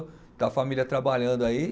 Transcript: Está a família trabalhando aí.